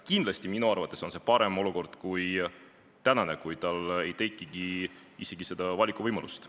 Kindlasti minu arvates on see parem olukord kui praegune, kui ei teki isegi seda valikuvõimalust.